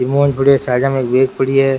बहुत बढ़िया साइड में एक बैग पड़ी है।